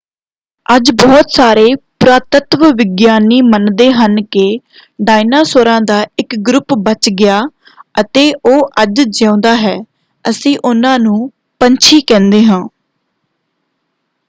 ਅੱਜ ਬਹੁਤ ਸਾਰੇ ਪੁਰਾਤੱਤਵ ਵਿਗਿਆਨੀ ਮੰਨਦੇ ਹਨ ਕਿ ਡਾਇਨਾਸੌਰਾਂ ਦਾ ਇੱਕ ਗਰੁੱਪ ਬੱਚ ਗਿਆ ਅਤੇ ਉਹ ਅੱਜ ਜਿਉਂਦਾ ਹੈ। ਅਸੀਂ ਉਨ੍ਹਾਂ ਨੂੰ ਪੰਛੀ ਕਹਿੰਦੇ ਹਾਂ।